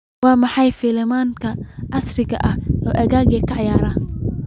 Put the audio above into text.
maxaa filimada casriga ah ee aaggayga ka ciyaara